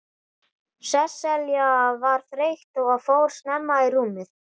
Sesselja var þreytt og fór snemma í rúmið.